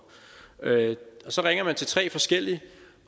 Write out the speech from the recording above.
så ringer man til tre forskellige